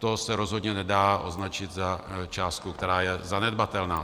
To se rozhodně nedá označit za částku, která je zanedbatelná.